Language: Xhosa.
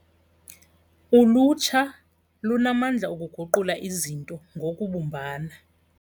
Ulutsha lunamandla okuguqula izinto ngokubumbana.